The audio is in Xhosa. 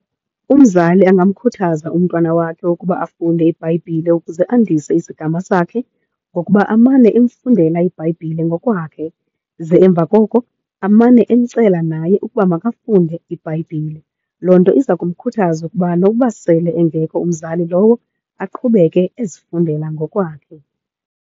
Umzali angamkhuthaza umntwana wakhe ukuba afunde iBhayibhile ukuze andise isigama sakhe ngokuba amane emfundela iBhayibhile ngokwakhe, ze emva koko amane eyicela naye ukuba makafunde iBhayibhile. Loo nto iza kumkhuthaza ukuba nokuba sele engekho umzali lowo aqhubeke ezifundela ngokwakhe.